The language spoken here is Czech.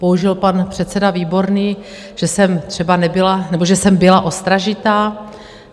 Použil pan předseda Výborný, že jsem třeba nebyla - nebo že jsem byla ostražitá.